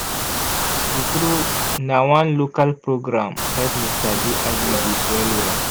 true true na one local program help me sabi iuds well well.